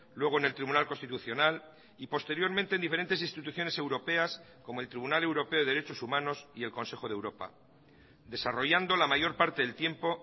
luego en el tribunal constitucional y posteriormente en diferentes instituciones europeas como el tribunal europeo de derechos humanos y el consejo de europa desarrollando la mayor parte del tiempo